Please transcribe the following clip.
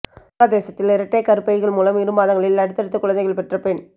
வங்காளதேசத்தில் இரட்டை கருப்பைகள் மூலம் இரு மாதங்களில் அடுத்தடுத்து குழந்தைகள் பெற்ற பெண்